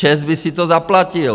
ČEZ by si to zaplatil.